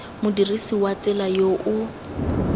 modirisi wa tsela yo o